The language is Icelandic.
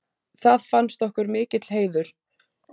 Það fannst okkur mikill heiður.